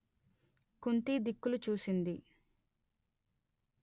కుంతి దిక్కులు చూసింది